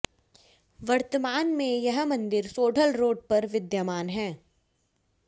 वर्तमान में यह मंदिर सोढल रोड पर विद्यमान है